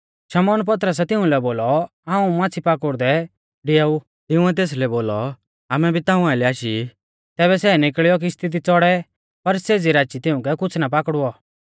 शमौन पतरसै तिउंलै बोलौ हाऊं माच़्छ़ी पाकुड़दै डिआऊ तिंउऐ तेसलै बोलौ आमै भी ताऊं आइलै आशी ई तैबै सै निकल़ियौ किश्ती दी च़ौड़ै पर सेज़ी राची तिउंकै कुछ़ ना पाकड़ुऔ